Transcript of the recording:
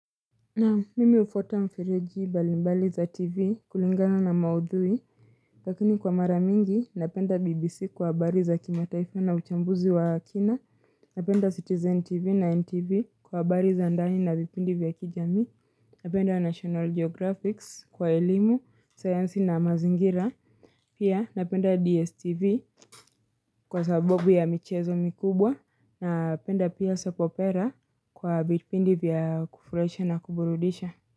Naam mimi hufuata mifireji mbalimbali za TV kulingana na maudhui, lakini kwa maramingi napenda BBC kwa habari za kimataifa na uchambuzi wa kina, napenda Citizen TV na NTV kwa habari za ndani na vipindi vya kijamii, napenda National Geographic kwa elimu, science na mazingira, pia napenda DSTV kwa sababu ya michezo mikubwa, napenda pia soapopera kwa vipindi vya kufurahisha na kuburudisha.